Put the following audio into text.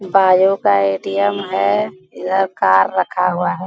Bio का ATM. है इधर कार रखा हुआ है।